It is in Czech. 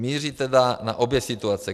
Míří tedy na obě situace.